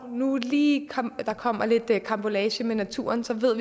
lige kommer lidt karambolage med naturen